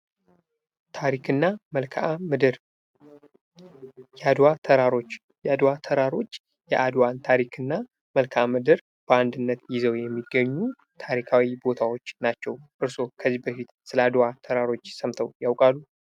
ታሪክና መልክዓምድር የአድዋ ተራሮች የአድዋ ተራሮች የአድዋን ታሪክና መልክዓምድር በአንድነት ይዘው የሚገኙ ታሪካዊ ቦታዎች ናቸው። እርስዎ ከዚህ በፊት ስለ አድዋ ተራሮች ሰምተው ያውቃሉ?